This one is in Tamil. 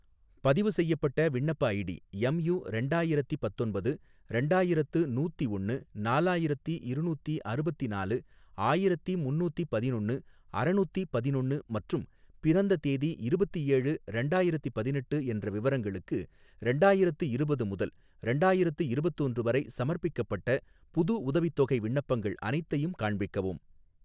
பதிவுசெய்யப்பட்ட விண்ணப்ப ஐடி எம்யூ ரெண்டாயிரத்தி பத்தொன்பது ரெண்டாயிரத்து நூத்திஒன்னு நாலாயிரத்தி இருநூத்தி அறுபத்தி நாலு ஆயிரத்தி முன்னூத்தி பதினொன்னு அறநூத்தி பதினொன்னு மற்றும் பிறந்த தேதி இருபத்தேழு ஏழு ரெண்டாயிரத்தி பதினெட்டு என்ற விவரங்களுக்கு, ரெண்டாயிரத்து இருபது முதல் ரெண்டாயிரத்து இருபத்தொன்று வரை சமர்ப்பிக்கப்பட்ட புது உதவித்தொகை விண்ணப்பங்கள் அனைத்தையும் காண்பிக்கவும்.